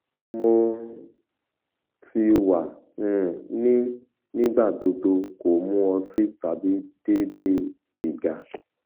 mo ti wa um ni nigbagbogbo ko mu oti tabi deede siga